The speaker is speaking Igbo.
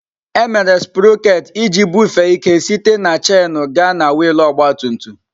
Emere Sproket iji bufee ike site na chainu gaa na wiil ọgba tum tum.